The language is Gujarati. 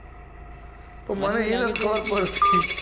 તો મને એ નથ ખબર પડતી